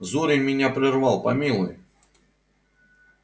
зурин меня прервал помилуй